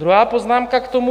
Druhá poznámka k tomu.